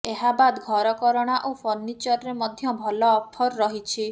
ଏହାବାଦ୍ ଘରକରଣା ଓ ଫର୍ଣ୍ଣିଚରରେ ମଧ୍ୟ ଭଲ ଅଫର୍ ରହିଛି